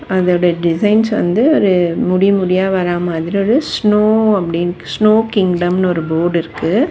அதோட டிசைன்ஸ் வந்து ஒரு முடி முடியா வர மாதிரி ஒரு ஸ்னோ அப்டின்னு ஸ்னோ கிங்டம்னு போர்டு இருக்கு.